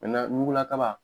ɲugula kaba